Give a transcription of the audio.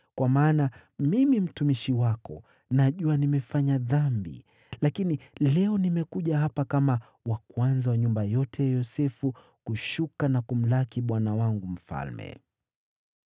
Kwa maana mimi mtumishi wako najua nimefanya dhambi, lakini leo nimekuja hapa kama wa kwanza wa nyumba yote ya Yosefu kushuka na kumlaki bwana wangu mfalme.”